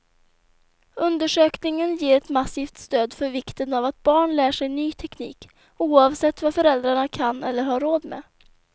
Undersökningen ger ett massivt stöd för vikten av att barn lär sig ny teknik, oavsett vad föräldrarna kan eller har råd med.